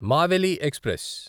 Maveli express